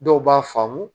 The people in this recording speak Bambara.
Dɔw b'a faamu